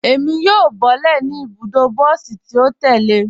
Ẹ̀mi yóò bọ̀lẹ́ ní ibùdó bọsí tì o tẹ̀lẹ̀.